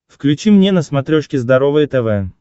включи мне на смотрешке здоровое тв